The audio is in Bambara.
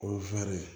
O ye